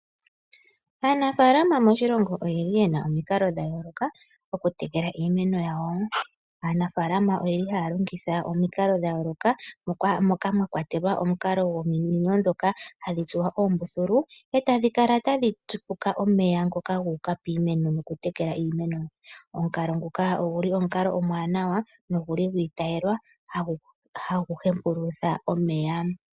Aanafaalama moshilongo oye na omikalo dha yooloka dhokutekela iimeno yawo. Ohaya longitha omikalo dha yooloka mwakwatelwa omukalo gominino ndhoka hadhi tsuwa oombululu eta dhikala tadhi tsipuka omeya guka piimeno noku tekela iimeno. Omukalo nguka omukalo omuwanawa no guli gu itayelwa hagu hepulutha omeya.